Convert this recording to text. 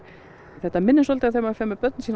þetta minnir svolítið þegar maður fer með börnunum